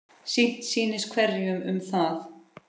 Sitt sýnist hverjum um það.